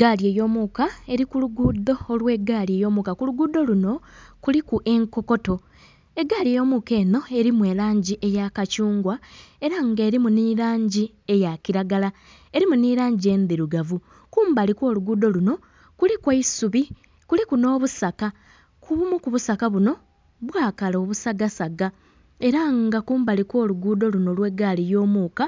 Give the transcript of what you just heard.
Gaali ey'omuka eri ku luguudo olw'egaali ey'omuka ku luguudo luno kuliku enkokoto, egaali ey'omuka eno erimu erangi eya kathungwa era nga erimu n'erangi eya kiragala, erimu n'erangi endhirugavu kumbali okw'oluguudo luno kuliku eisubi, kuliku n'obusaka kubumu kubusaka buno bwakala obusagasaga era nga kumbali okw'oluguudo luno olw'egaali y'omuka